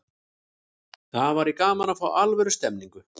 Það væri gaman að fá alvöru stemningu.